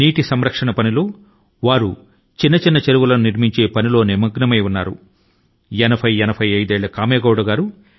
అందుకే నీటి నిల్వ కోసం చిన్న చెరువుల ను తవ్వే పనిలో పడ్డారు